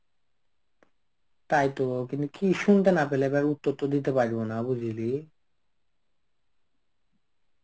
তাইতো কিন্তু কি শুনতে না পেলে এবার উত্তর তো দিতে পারবো না বুঝলি.